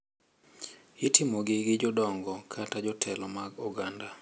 Itimogi gi jodongo kata jotelo mag oganda.